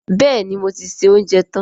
Bẹ́ẹ̀ni, mo ti se oúnjẹ tán